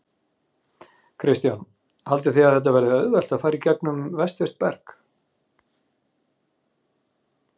Kristján: Haldið þið að þetta verði auðvelt að fara í gegnum vestfirskt berg?